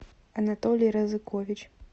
анатолий разыкович